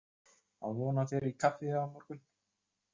Á von á þér í kaffi á morgun!